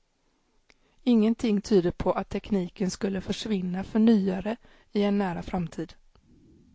Ingenting tyder på att tekniken skulle försvinna för nyare i en nära framtid.